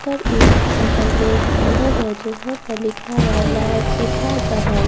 पर एक बगल में एक खुंदस है जिस पर लिखा हुआ --